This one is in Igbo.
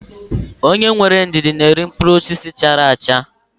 Onye nwere ndidi na-eri mkpụrụ osisi chara acha.